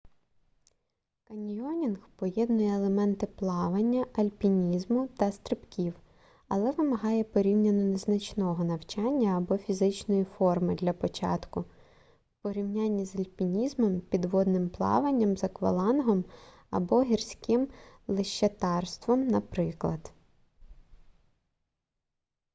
каньйонінг поєднує елементи плавання альпінізму та стрибків але вимагає порівняно незначного навчання або фізичної форми для початку в порівнянні з альпінізмом підводним плаванням з аквалангом або гірським лещатарством наприклад